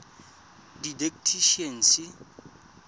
didactician